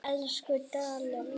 Elsku Dalli minn.